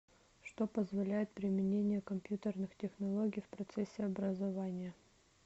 что позволяет применение компьютерных технологий в процессе образования